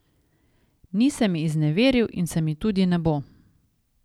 Ni se mi izneveril in se mi tudi ne bo.